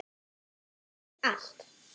Hann vissi allt.